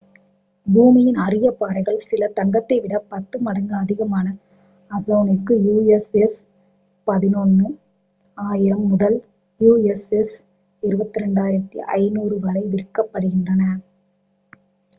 பூமியின் அரிய பாறைகள் சில தங்கத்தை விட 10 மடங்கு அதிகமான அவுன்சிற்கு us$11.000 முதல் us$22,500 வரை விற்கப்படுகின்றன